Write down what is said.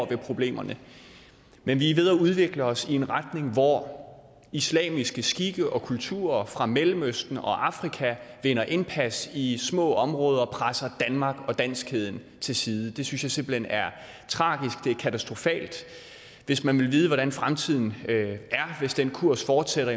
ved problemerne men vi er ved at udvikle os i en retning hvor islamiske skikke og kulturer fra mellemøsten og afrika vinder indpas i små områder og presser danmark og danskheden til side det synes jeg simpelt hen er tragisk og katastrofalt hvis man vil vide hvordan fremtiden er hvis den kurs fortsætter